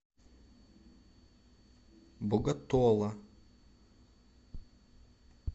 боготола